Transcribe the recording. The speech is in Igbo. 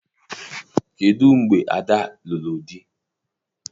Kedụ mgbe Ada lụrụ di?